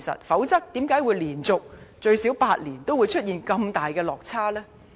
否則又怎會連續最少8年，都出現這麼大落差呢？